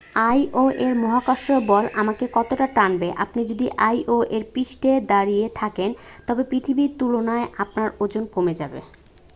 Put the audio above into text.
আইও-এর মহাকর্ষ বল আমাকে কতটা টানবে আপনি যদি আইও-এর পৃষ্ঠে দাঁড়িয়ে থাকেন তবে পৃথিবীর তুলনায় আপনার ওজন কমে যাবে